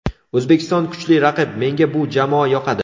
O‘zbekiston kuchli raqib, menga bu jamoa yoqadi.